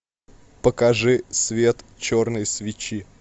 покажи свет черной свечи